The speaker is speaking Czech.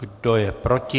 Kdo je proti?